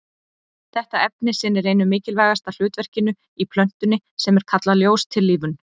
Þetta efni sinnir einu mikilvægasta hlutverkinu í plöntunni sem er kallað ljóstillífun.